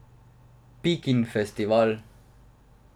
Pikin festival.